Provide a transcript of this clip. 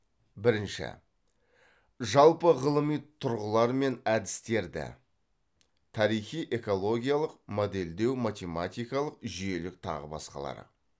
бірінші жалпы ғылыми тұрғылар мен әдістерді